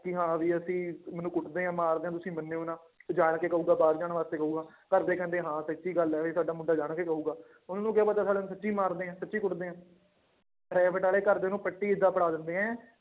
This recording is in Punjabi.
ਕਿ ਹਾਂ ਵੀ ਅਸੀਂ ਮੈਨੂੰ ਕੁੱਟਦੇ ਆ ਮਾਰਦੇ ਆ ਤੁਸੀਂ ਮੰਨਿਓ ਨਾ ਤੇ ਜਾਣਕੇ ਕਹੇਗਾ ਬਾਹਰ ਜਾਣ ਕਰੇ ਕਹੇਗਾ, ਘਰਦੇ ਕਹਿੰਦੇ ਹਾਂ ਸੱਚੀ ਗੱਲ ਹੈ ਵੀ ਸਾਡਾ ਮੁੰਡਾ ਜਾਣਕੇ ਕਹੇਗਾ, ਤੁਹਾਨੂੰ ਕੀ ਪਤਾ ਨੂੰ ਸੱਚੀ ਮਾਰਦੇ ਆ ਸੱਚੀ ਕੁੱਟਦੇ ਹੈ private center ਵਾਲੇ ਘਰਦੇ ਨੂੰ ਪੱਟੀ ਏਦਾਂ ਪੜ੍ਹਾ ਦਿੰਦੇ ਹੈ,